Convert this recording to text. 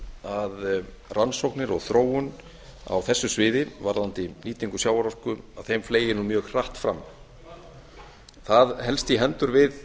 að rannsóknir og þróun á þessu sviði varðandi nýtingu sjávarorku þeim fleygir nú mjög hratt fram það helst í hendur við